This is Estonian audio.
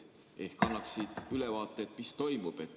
Ehk annaksid ülevaate, mis toimub.